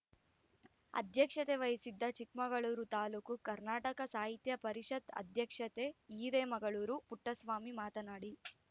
ಅಧ್ಯಕ್ಷತೆ ವಹಿಸಿದ್ದ ಚಿಕ್ಕಮಗಳೂರು ತಾಲೂಕು ಕರ್ನಾಟಕ ಸಾಹಿತ್ಯ ಪರಿಷತ್ ಅಧ್ಯಕ್ಷತೆ ಹಿರೇಮಗಳೂರು ಪುಟ್ಟಸ್ವಾಮಿ ಮಾತನಾಡಿ